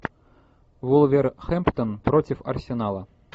вулверхэмптон против арсенала